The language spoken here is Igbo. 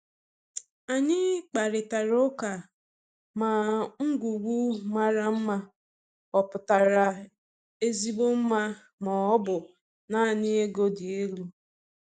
Anyị kparịtara ụka ma ngwugwu mara mma ọ pụtara ezigbo mma ma ọ bụ naanị ego dị elu.